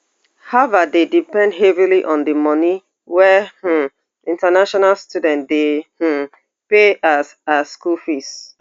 harvard dey depend heavily on di money wey um international students dey um pay as as school fees